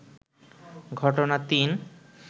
ঘটনা-৩